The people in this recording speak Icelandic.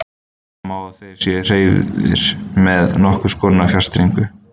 Segja má að þeir séu hreyfðir með nokkurs konar fjarstýringu.